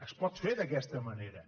es pot fer d’aquesta manera